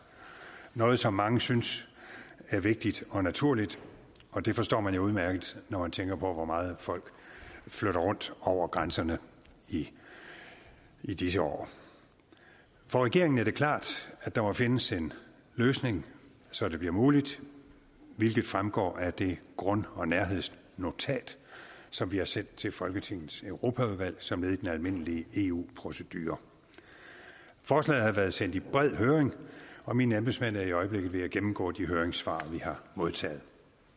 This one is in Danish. noget som mange synes er vigtigt og naturligt og det forstår man jo udmærket når man tænker på hvor meget folk flytter rundt over grænserne i i disse år for regeringen er det klart at der må findes en løsning så det bliver muligt hvilket fremgår af det grund og nærhedsnotat som vi har sendt til folketingets europaudvalg som led i den almindelige eu procedure forslaget har været sendt i bred høring og mine embedsmænd er i øjeblikket ved at gennemgå de høringssvar vi har modtaget